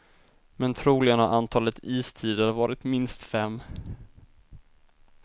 Men troligen har antalet istider varit minst fem.